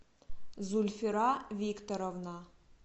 зульфира викторовна